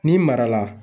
N'i mara la